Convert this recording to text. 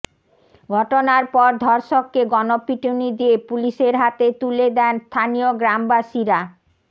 ঘটনার পর ধর্ষককে গণপিটুনি দিয়ে পুলিশের হাতে তুলে দেন স্থানীয় গ্রামবাসীরা